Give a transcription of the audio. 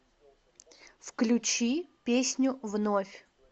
включи песню вновь